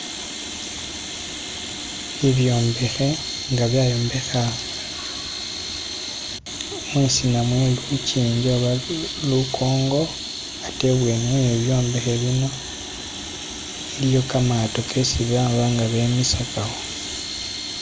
Bibyombekhe nga byayombekhwa mwisina mwe lujinji oba lukongo atee ibweni we byombekhe bino iliyo kamaato gesi babanga bemisagawo